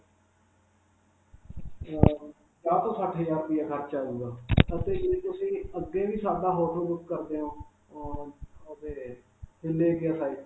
ਅਅ ਪੰਜਾਹ ਤੋਂ ਸੱਠ ਹਜ਼ਾਰ ਰੁਪਇਆ ਖਰਚਾ ਹੋਵੇਗਾ. ਤੁਸੀਂ ਅੱਗੇ ਵੀ ਸਾਡਾ hotel ਬੁਕ ਕਰਦੇ ਹੋ.ਅਅ ਅਤੇ .